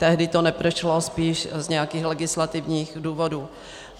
Tehdy to neprošlo spíš z nějakých legislativních důvodů.